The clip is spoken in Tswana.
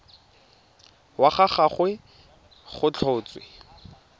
wa ga gagwe go tlhotswe